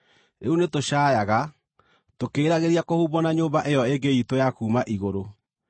Rĩu nĩtũcaayaga, tũkĩĩriragĩria kũhumbwo na nyũmba ĩyo ĩngĩ iitũ ya kuuma igũrũ,